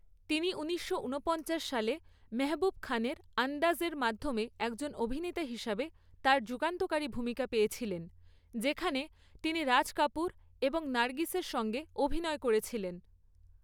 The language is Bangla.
তিনি ঊনিশশো উনপঞ্চাশ সালে মেহবুব খানের 'আন্দাজ' এর মাধ্যমে একজন অভিনেতা হিসাবে তার যুগান্তকারী ভূমিকা পেয়েছিলেন, যেখানে তিনি রাজ কাপুর এবং নার্গিসের সঙ্গে অভিনয় করেছিলেন।